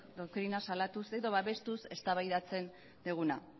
doktrina salatuz edo babestuz eztabaidatzen duguna